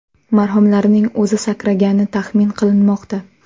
Marhumlarning o‘zi sakragani taxmin qilinmoqda.